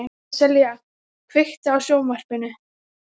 Sessilía, kveiktu á sjónvarpinu.